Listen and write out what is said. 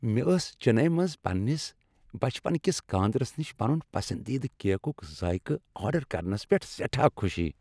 مےٚ ٲس چنئی منٛز پننس بچپنکِس کاندرِس نِش پنن پسندیدٕ کیکک ذائقہ آرڈر کرنس پیٹھ سیٹھاہ خوشی۔